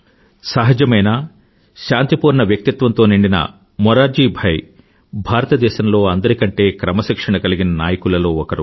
సహజమైన శాంతిపూర్ణ వ్యక్తిత్వంతో నిండిన మురార్జీ భాయ్ భారతదేశంలో అందరికంటే క్రమశిక్షణ కలిగిన నాయకులలో ఒకరు